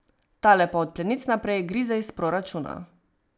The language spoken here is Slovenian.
Tale pa od plenic naprej grize iz proračuna.